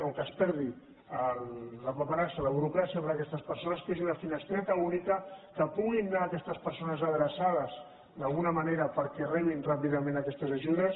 o que es perdi la paperassa la burocràcia per aquestes persones que hi hagi una finestreta única que hi puguin anar aquestes persones adreçades d’alguna manera perquè rebin ràpidament aquestes ajudes